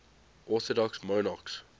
orthodox monarchs